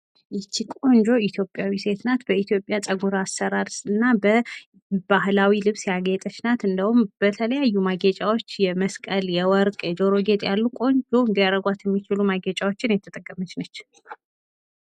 ይቺ ቆንጆ ኢትዮጵያዊ ሴት ናት። በኢትዮጵያ ፀጉር አሰራር እና በባህላዊ ልብስ ያጌጤች ናት። እንዲያዉም በተለያዩ ማጌጫወች የመስቀል፣ የወርቅ፣ የጆሮ ጌጥ ቆንጆ እንዲያረጓት ያሉ የተጠቀመች ነች።